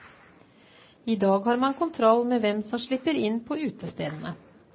I dag har man kontroll med hvem som slipper inn på utestedene.